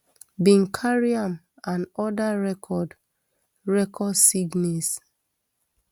bin carry am and oda record record signees